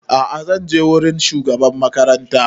A'a zan je wurin shugaban makaranta